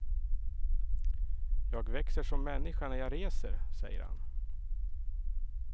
Jag växer som människa när jag reser, säger han.